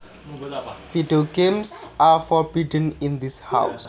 Video games are forbidden in this house